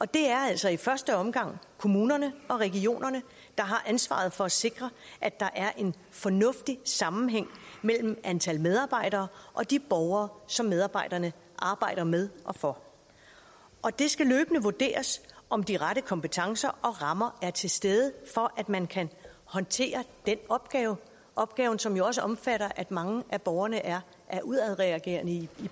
det er altså i første omgang kommunerne og regionerne der har ansvaret for at sikre at der er en fornuftig sammenhæng mellem antal medarbejdere og de borgere som medarbejderne arbejder med og for og det skal løbende vurderes om de rette kompetencer og rammer er til stede for at man kan håndtere den opgave opgave som jo også omfatter at mange af borgerne er er udadreagerende i